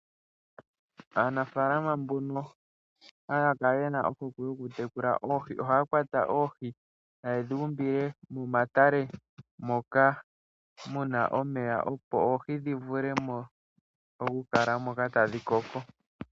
Aanafaalama mbono haya kala ye na ohokwe yokutekula oohi ohaya kwata oohi taye dhi umbile momatale moka mu na omeya, opo oohi dhi vule okukala mo tadhi koko.